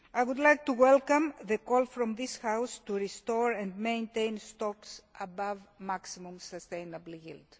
I would like to welcome the call from this House to restore and maintain stocks above the maximum sustainable yield.